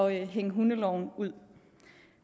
hænge hundeloven ud